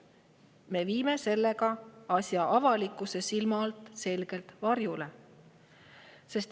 Me viime sellega asja avalikkuse silme alt selgelt varjule.